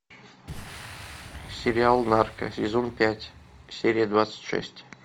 сериал нарко сезон пять серия двадцать шесть